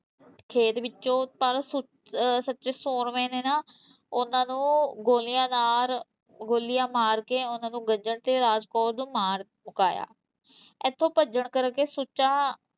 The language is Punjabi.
ਖੇਤ ਵਿੱਚੋਂ ਪਰ ਸੁੱ ਅਹ ਸੁੱਚੇ ਸੂਰਮੇ ਨੇ ਨਾ ਉਹਨਾਂ ਨੂੰ ਗੋਲੀਆਂ ਨਾਲ ਗੋਲੀਆਂ ਮਾਰ ਕੇ ਉਹਨਾਂ ਨੂੰ ਗੱਜਣ ਤੇ ਰਾਜ ਕੌਰ ਨੂੰ ਮਾਰ ਮੁਕਾਇਆ, ਇੱਥੋਂ ਭੱਜਣ ਕਰਕੇ ਸੁੱਚਾ